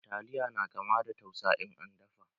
Taliya na kama da tsusa in an dafa.